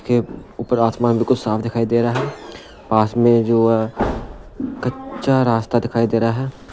के ऊपर आसमान बिल्कुल साफ दिखाई दे रहा है पास में जो कच्चा रास्ता दिखाई दे रहा है।